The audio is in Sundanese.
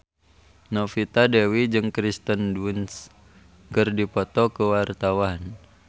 Novita Dewi jeung Kirsten Dunst keur dipoto ku wartawan